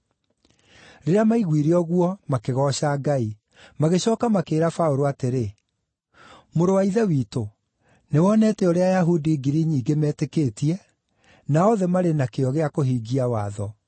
Rĩrĩa maaiguire ũguo, makĩgooca Ngai. Magĩcooka makĩĩra Paũlũ atĩrĩ, “Mũrũ wa ithe witũ, nĩwonete ũrĩa Ayahudi ngiri nyingĩ metĩkĩtie, na othe marĩ na kĩyo gĩa kũhingia watho.